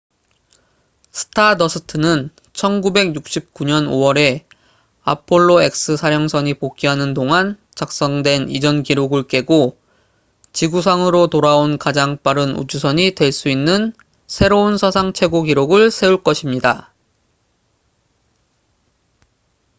stardust는 1969년 5월에 apollo x 사령선이 복귀하는 동안 작성된 이전 기록을 깨고 지구상으로 돌아온 가장 빠른 우주선이 될 수 있는 새로운 사상 최고 기록을 세울 것입니다